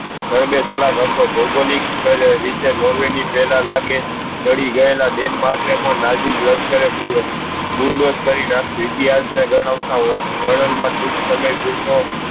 ભોગોલીક કર રીતે નોર્વે ની પહેલા લાગે ચડી ગયેલા ડેન્માર્ક ને પણ નાજી જોયા જ કરે બુલ્દોસ કરી નાખ્યું ઈતિહાસ ના ગણાવતા વોન મા ખુબ સમય